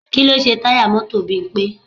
Kí ló ṣe táyà mọ́tò Bímpé?